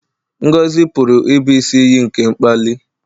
Ngọzi pụrụ ịbụ isi iyi nke mkpali.